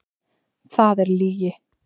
Það er lygi!